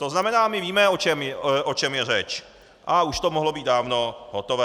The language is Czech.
To znamená, my víme, o čem je řeč, a už to mohlo být dávno hotové.